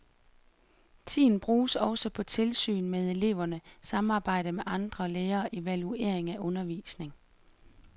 Tiden bruges også på tilsyn med eleverne, samarbejde med andre lærere og evaluering af undervisning.